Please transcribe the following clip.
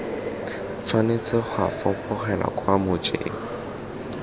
tshwanetse ga fapogelwa kwa mojeng